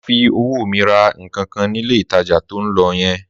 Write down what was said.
Má fi owó mi ra nǹkankan nílé ìtajà to ń lọ yẹn!